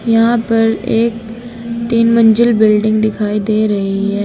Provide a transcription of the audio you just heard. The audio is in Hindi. यहां पर एक तीन मंजिल बिल्डिंग दिखाई दे रही है।